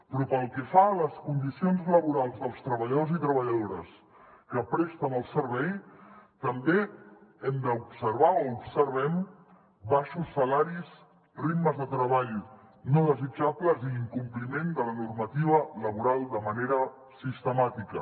però pel que fa a les condicions laborals dels treballadors i treballadores que presten el servei també hem d’observar o observem baixos salaris ritmes de treball no desitjables i incompliment de la normativa laboral de manera sistemàtica